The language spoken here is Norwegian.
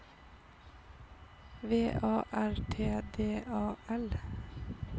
V A R T D A L